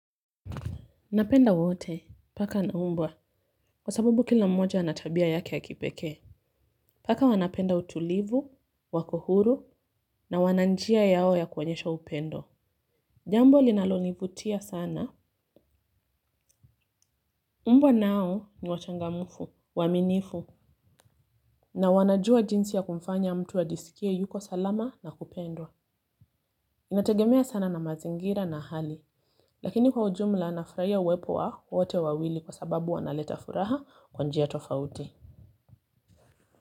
Napenda wote. Paka na mbwa. Kwa sababu kila mmoja ana tabia yake ya kipekee. Paka wanapenda utulivu, wako huru, na wana njia yao ya kuonyesha upendo. Jambo linalonivutia sana mbwa nao ni wachangamfu, waaminifu. Na wanajua jinsi ya kumfanya mtu ajisikie yuko salama na kupendwa. Inategemea sana na mazingira na hali. Lakini kwa ujumla nafurahia uwepo wa wote wawili kwa sababu wanaleta furaha kwa njia tofauti.